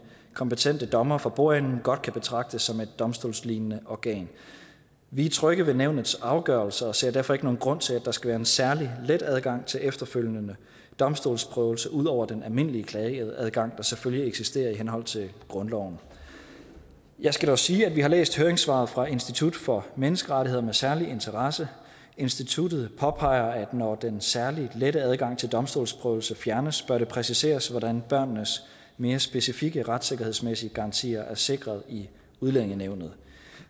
kompetente dommer for bordenden godt kan betragtes som et domstolslignende organ vi er trygge ved nævnets afgørelser og ser derfor ikke nogen grund til at der skal være en særlig let adgang til efterfølgende domstolsprøvelse ud over den almindelige klageadgang der selvfølgelig eksisterer i henhold til grundloven jeg skal dog sige at vi har læst høringssvaret fra institut for menneskerettigheder med særlig interesse instituttet påpeger at når den særlig lette adgang til domstolsprøvelse fjernes bør det præciseres hvordan børnenes mere specifikke retssikkerhedsmæssige garantier er sikret i udlændingenævnet